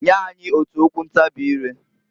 Nya anyị otu okwu ntabị ileǃ